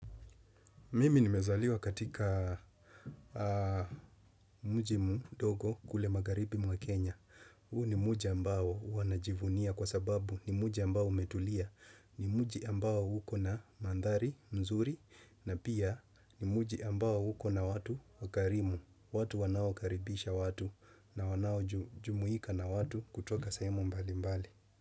Mimi nimezaliwa katika mji mdogo kule magharibi mwa Kenya. Huu ni mji ambao huwa najivunia kwa sababu ni mji ambao umetulia. Ni mji ambao uko na mandhari mzuri na pia ni mji ambao uko na watu wakarimu. Watu wanaokaribisha watu na wanaojumuika na watu kutoka sehemu mbalimbali.